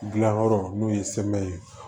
Gilan yɔrɔ n'o ye ye